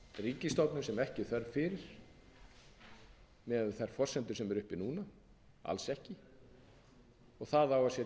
ríkisstofnun sem ekki er þörf fyrir miðað við þær forsendur sem eru uppi núna alls ekki og það á að setja